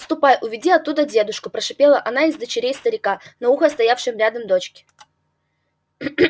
ступай уведи оттуда дедушку прошипела одна из дочерей старика на ухо стоявшей рядом дочке